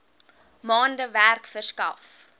maande werk verskaf